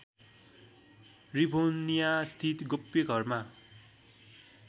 रिभोनियास्थित गोप्य घरमा